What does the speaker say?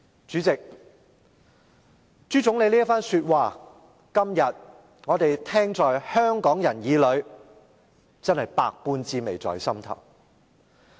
"主席，朱總理這番說話，香港人今天聽在耳裏，真是百般滋味在心頭。